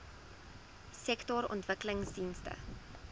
sektorontwikkelingdienste